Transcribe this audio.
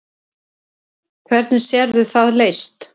Hvernig sérðu það leyst?